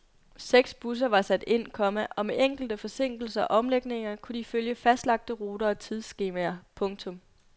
Seks busser var sat ind, komma og med enkelte forsinkelser og omlægninger kunne de følge fastlagte ruter og tidsskemaer. punktum